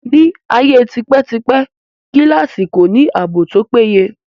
Ní ayé tipẹ́ tipẹ́, gíláàsì kò ní ààbò tó péye